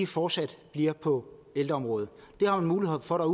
fortsat bliver på ældreområdet det har man mulighed for at